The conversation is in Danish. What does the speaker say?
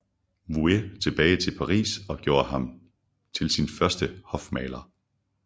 Vouet tilbage til Paris og gjorde ham til sin første hofmaler